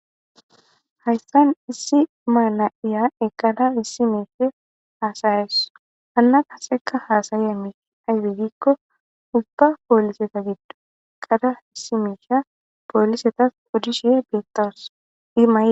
hayssan issi maana7iya eqada issi meisfe haasayeso anna kaseka haasaye miiti aybe gikko ubba pooliseta giddo qada issi miisha poolisetas udishe beettoos ima